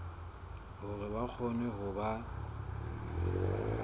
hore ba kgone ho ba